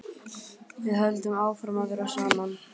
Við höldum áfram að vera saman.